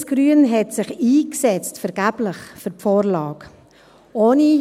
Links-Grün hat sich vergeblich für die Vorlage eingesetzt.